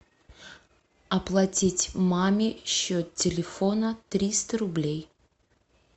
оплатить маме счет телефона триста рублей